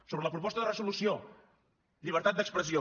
sobre la proposta de resolució llibertat d’expressió